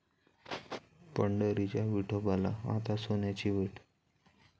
पंढरीच्या विठोबाला आता सोन्याची वीट!